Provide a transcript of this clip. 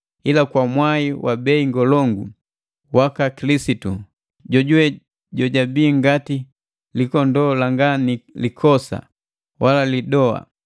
ila kwa mwai wa bei ngolongo waka Kilisitu, jojuwe jojabi ngati likondoo langa ni likosa wala lidoa.